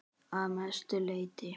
Að mestu leyti